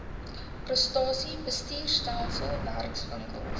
prestasie bestuurstelsel werkswinkels